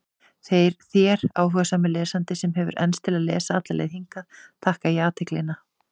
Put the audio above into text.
Þér, áhugasami lesandi, sem hefur enst til að lesa alla leið hingað, þakka ég athyglina.